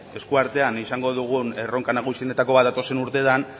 eskuartean izango dugun erronka nagusienetako bat datozen urteetan